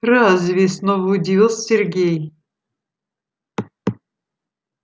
разве снова удивился сергей